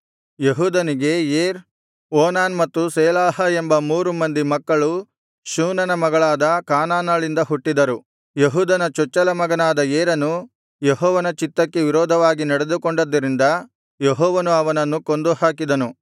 ಯೆಹೂದನಿಗೆ Er Onan ಮತ್ತು Shelah ಎಂಬ ಮೂರು ಜನರು ಮಕ್ಕಳು ಶೂನನ ಮಗಳಾದ ಕಾನಾನಳಿಂದ ಹುಟ್ಟಿದರು ಯೆಹೂದನ ಚೊಚ್ಚಲ ಮಗನಾದ ಏರನು ಯೆಹೋವನ ಚಿತ್ತಕ್ಕೆ ವಿರೋಧವಾಗಿ ನಡೆದುಕೊಂಡದ್ದರಿಂದ ಯೆಹೋವನು ಅವನನ್ನು ಕೊಂದು ಹಾಕಿದನು